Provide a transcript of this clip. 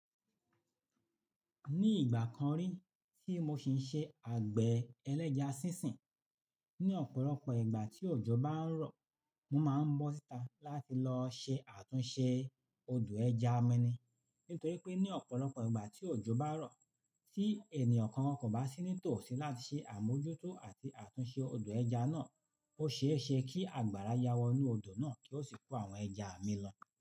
Ní ìgbà kan rí tí mo ṣi ń ṣe àgbẹ̀ ẹlẹ́ja sínsìn, ní ọ̀pọ̀lọpọ̀ ìgbà tí òjò bá ń rọ̀, mo máa ń bọ́ síta láti lọ ṣe àtúnṣe odò ẹja mi ni. Nítorí pé ní ọ̀pọ̀lọpọ̀ ìgbà tí òjò bá rọ̀, tí ènìyàn kan kò bá sí nítòsí láti ṣe àmójútó àti àtúnṣe odò ẹja náà, ó ṣe é ṣe kí àgbàrá yáwọ́ inú odò náà kí ó sì kó àwọn ẹja mi lọ.